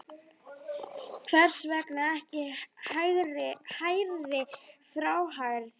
Hvers vegna ekki hærri fjárhæð?